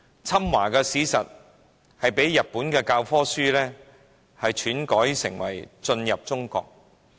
侵華的史實，被日本教科書篡改為進入中國。